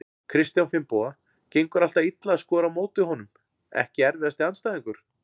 Kristján Finnboga, gengur alltaf illa að skora á móti honum Ekki erfiðasti andstæðingur?